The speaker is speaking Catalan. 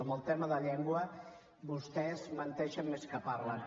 amb el tema de llengua vostès menteixen més que parlen